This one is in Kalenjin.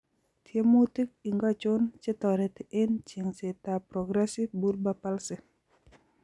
Tyemutik ingocho chetoreti eng' cheng'setab progressive bulbar palsy